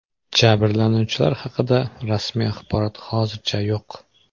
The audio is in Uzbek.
Jabrlanuvchilar haqida rasmiy axborot hozircha yo‘q.